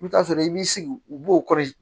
I bɛ t'a sɔrɔ i b'i sigi u b'o kɔɔri